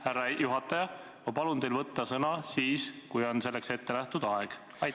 Härra juhataja, ma palun teil võtta sõna siis, kui selleks ette nähtud aeg on läbi.